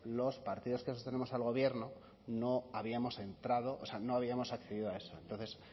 los partidos que sostenemos al gobierno no habíamos entrado o sea no habíamos accedido a eso entonces